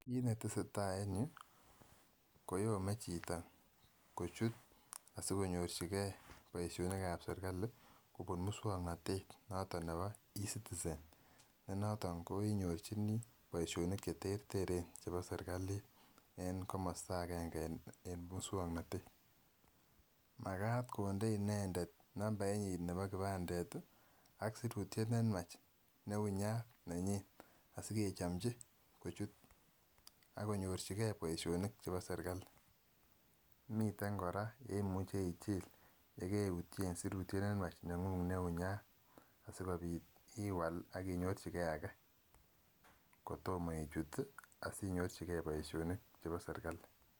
Kit netesetai en yuu koyome chito kochu asikonyorchi gee boishonik ab serikali kobun muswoknotet noton nebo ecitizen ne noton ko inyorchinii boishonik cheterteren chebo serikalit en komosto agenge en muswoknotet. Makat konde inendet nambait nyin nebo kipandet tii ak sirutyet nenywach newunyat nenyin asikechomchi kochut ak konyorchi gee boishonik chebo serikali. Miten Koraa yeimuche ichil yekeutyen sirutyet nenywach nenguny newunyat asikopit iwal akinyorchi gee ake kotomo ichut tii asinyorchi gee boishonik chebo serikali.